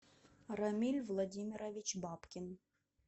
рамиль владимирович бабкин